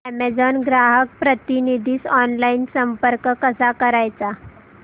Amazon ग्राहक प्रतिनिधीस online संपर्क कसा करायचा